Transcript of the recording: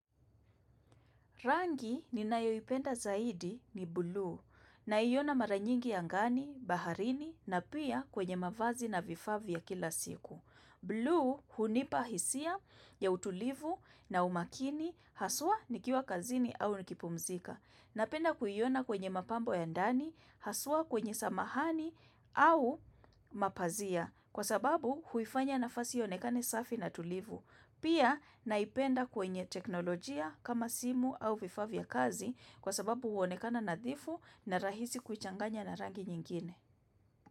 Rangi ninayoipenda zaidi ni bulu naiona mara nyingi angani, baharini na pia kwenye mavazi na vifaa vya kila siku. Bulu hunipa hisia ya utulivu na umakini haswa nikiwa kazini au nikipumzika. Napenda kuyiona kwenye mapambo ya ndani, haswa kwenye samahani au mapazia kwa sababu huifanya nafasi iyonekane safi na tulivu. Pia naipenda kwenye teknolojia kama simu au vifavya kazi kwa sababu huonekana nadhifu na rahisi kuchanganya na rangi nyingine.